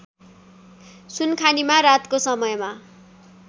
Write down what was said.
सुनखानीमा रातको समयमा